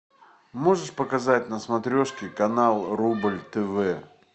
можешь показать на смотрешке канал рубль тв